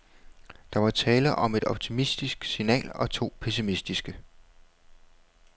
Der var tale om et optimistisk signal og to pessimistiske.